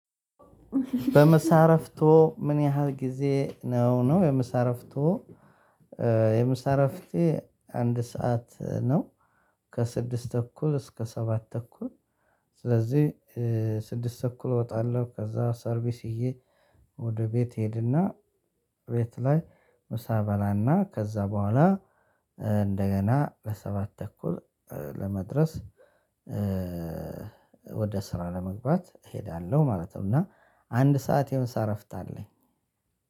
በምሳ እረፍትዎ ምን ያህል ጊዜ ነው? ነው። የምሳ እረፍትዎ የምሳ እረፍቴ አንድ ሰዓት ነው። ከስድስት ተኩል እስከ ሰባት ተኩል። ስለዚህ ስድስት ተኩል እወጣለሁ። ከዛ ሰርቪስ ይዠ ወደ ቤት እሄድና ቤት ላይ ምሳ እበላና ከዛ በኋላ እንደገና ለሰባት ተኩል ለመድረስ ወደ ስራ ለመግባት እሄዳለሁ ማለት ነው። እና አንድ ሰዓት የምሳ እረፍት አለኝ።